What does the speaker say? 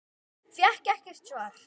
Fékk ekkert svar.